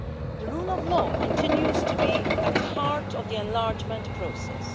The rule of law continues to be at the heart of the enlargement process.